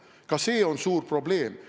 Ka see on suur probleem.